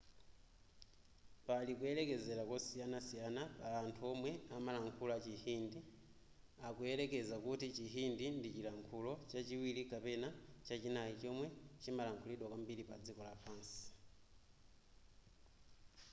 pali kuyerekezera kosiyanasiyana pa anthu omwe amalankhula chihindi akuyerekeza kuti chihindi ndi chilankhulo chachiwiri kapena chachinayi chomwe chimalankhulidwa kwambiri padziko lapansi